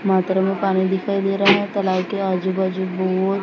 bathroom में पानी दिखाई दे रहा है तलाई के आजू बाजू बोर--